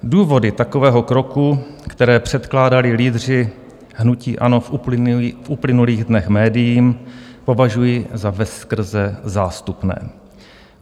Důvody takového kroku, které předkládali lídři hnutí ANO v uplynulých dnech médiím, považuji za veskrze zástupné.